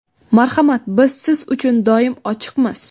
Marhamat, biz siz uchun doim ochiqmiz!